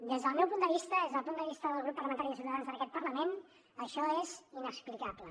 des del meu punt de vista des del punt de vista del grup parlamentari de ciutadans en aquest parlament això és inexplicable